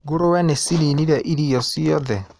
Ngũrũwe nĩcininire irio ciothe.